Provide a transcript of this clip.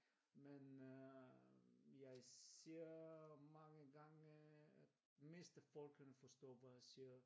Men øh jeg ser mange gange at mest af folkene forstår hvad jeg siger